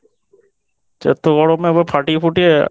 এত গরম এবার ফাটিয়ে ফুটিয়ে